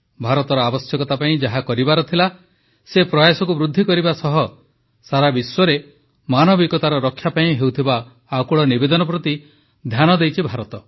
ଭାରତର ଆବଶ୍ୟକତା ପାଇଁ ଯାହା କରିବାର ଥିଲା ସେ ପ୍ରୟାସକୁ ବୃଦ୍ଧି କରିବା ସହ ସାରା ବିଶ୍ୱରେ ମାନବିକତାର ରକ୍ଷା ପାଇଁ ହେଉଥିବା ଆକୁଳ ନିବେଦନ ପ୍ରତି ଧ୍ୟାନ ଦେଇଛି ଭାରତ